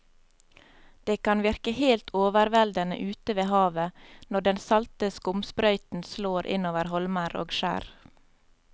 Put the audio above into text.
Det kan virke helt overveldende ute ved havet når den salte skumsprøyten slår innover holmer og skjær.